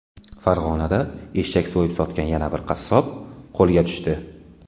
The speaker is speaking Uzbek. Farg‘onada eshak so‘yib sotgan yana bir qassob qo‘lga tushdi.